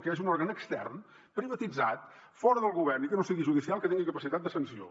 que hi hagi un òrgan extern privatitzat fora del govern i que no sigui judicial que tingui capacitat de sanció